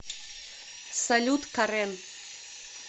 салют карен